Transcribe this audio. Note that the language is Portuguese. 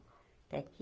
Até que...